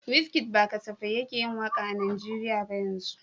Wizkid ba kasafai yake yin waka a Najeriya yanzu ba.